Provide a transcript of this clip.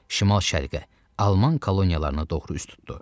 Şimal-şərqə, Alman koloniyalarına doğru üz tutdu.